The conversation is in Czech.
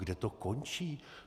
Kde to končí?